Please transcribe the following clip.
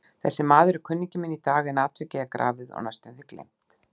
Þessi maður er kunningi minn í dag, en atvikið er grafið og næstum því gleymt.